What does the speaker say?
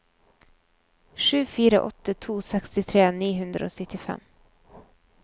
sju fire åtte to sekstitre ni hundre og syttifem